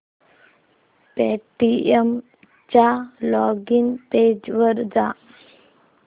Paytm च्या login page वर जा